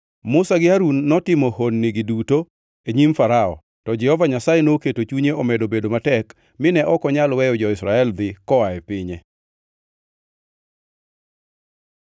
Musa gi Harun notimo honnigi duto e nyim Farao, to Jehova Nyasaye noketo chunye omedo bedo matek mine ok onyal weyo jo-Israel dhi koa e pinye.